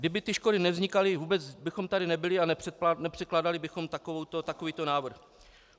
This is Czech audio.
Kdyby ty škody nevznikaly, vůbec bychom tady nebyli a nepředkládali bychom takovýto návrh.